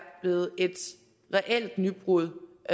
blevet et reelt nybrud